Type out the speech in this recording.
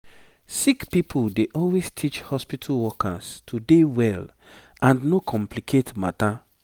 sick pipo dey always teach hospitu workers to dey well and no complicate matter